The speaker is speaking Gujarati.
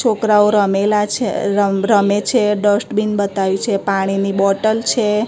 છોકરાઓ રમેલા છે રમ રમે છે ડસ્ટબીન બતાવ્યું છે પાણી ની બોટલ છે.